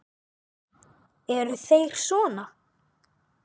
Eru þeir sona?